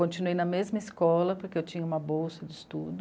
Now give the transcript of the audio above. Continuei na mesma escola, porque eu tinha uma bolsa de estudo.